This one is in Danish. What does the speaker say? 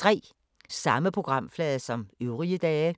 Samme programflade som øvrige dage